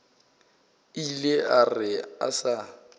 ile a re a sa